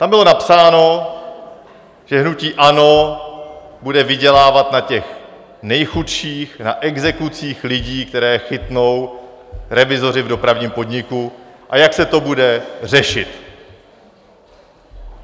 Tam bylo napsáno, že hnutí ANO bude vydělávat na těch nejchudších, na exekucích lidí, které chytnou revizoři v Dopravním podniku, a jak se to bude řešit.